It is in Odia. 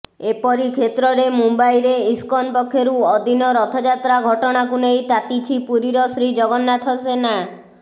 ଏପରିକ୍ଷେତ୍ରରେ ମୁମ୍ବାଇରେ ଇସ୍କନ ପକ୍ଷରୁ ଅଦିନ ରଥଯାତ୍ରା ଘଟଣାକୁ ନେଇ ତାତିଛି ପୁରୀର ଶ୍ରୀଜଗନ୍ନାଥ ସେନା